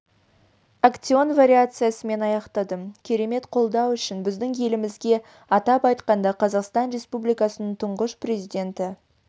актеон вариациясымен аяқтадым керемет қолдау үшін біздің елімізге атап айтқанда қазақстан республикасының тұңғыш президенті